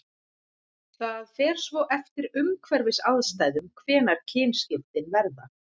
það fer svo eftir umhverfisaðstæðum hvenær kynskiptin verða